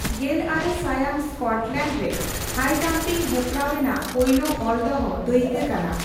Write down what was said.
ᱜᱮᱞ ᱟᱨᱮ ᱥᱟᱭᱟᱝ ᱥᱠᱚᱴᱞᱮᱱᱰ ᱨᱮ ᱦᱟᱭᱡᱟᱢᱯᱤᱝ ᱦᱮᱯᱨᱟᱣ ᱨᱮᱱᱟᱜ ᱯᱳᱭᱞᱳ ᱚᱞᱫᱚᱦᱚ ᱫᱟᱹᱭᱠᱟᱹ ᱠᱟᱱᱟ ᱾